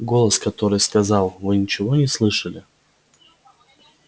голос который сказал вы ничего не слышали